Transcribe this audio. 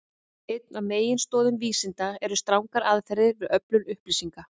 árið nítján hundrað sextíu og einn var gerður alþjóðasamningur um stjórnmálasamband sem ísland hefur gerst aðili að